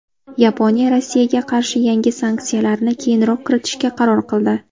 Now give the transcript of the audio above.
Yaponiya Rossiyaga qarshi yangi sanksiyalarni keyinroq kiritishga qaror qildi.